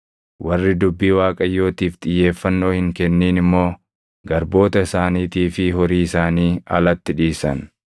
Warri dubbii Waaqayyootiif xiyyeeffannoo hin kennin immoo garboota isaaniitii fi horii isaanii alatti dhiisan.